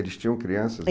Eles tinham crianças